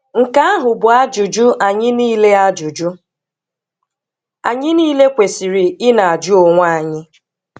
Nke ahụ bụ ajụjụ anyị niile ajụjụ anyị niile kwesịrị ị na-ajụ onwe anyị.